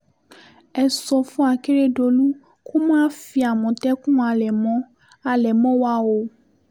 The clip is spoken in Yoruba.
ẹ sọ fún àkẹrẹdọlù kó má fi àmọ̀tẹ́kùn halẹ̀ mọ́ halẹ̀ mọ́ wa o